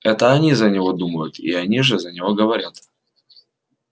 это они за него думают и они же за него говорят